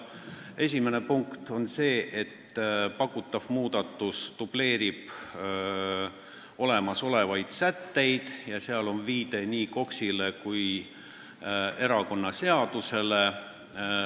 Esimene punkt on see, et pakutav muudatus dubleerib olemasolevaid sätteid ja seal on viide nii KOKS-ile kui ka erakonnaseadusele.